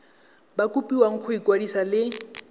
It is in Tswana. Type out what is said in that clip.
ba kopiwa go ikwadisa le